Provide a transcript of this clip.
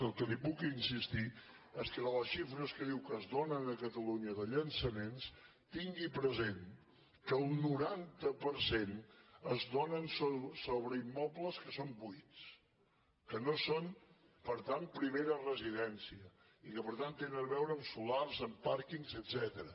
el que li puc insistir és que de les xifres que diu que es donen a catalunya de llança·ments tingui present que el noranta per cent es donen sobreimmobles que són buits que no són per tant prime·ra residència i que per tant tenen a veure amb solars amb pàrquings etcètera